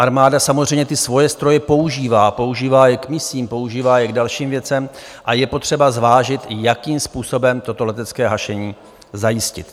Armáda samozřejmě ty svoje stroje používá, používá je k misím, používá je k dalším věcem a je potřeba zvážit, jakým způsobem toto letecké hašení zajistit.